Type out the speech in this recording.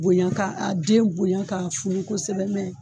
Bonya k'a den bonya ka funu kosɛbɛ, mɛ